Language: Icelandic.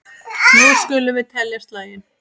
Nú skulum við telja slagina.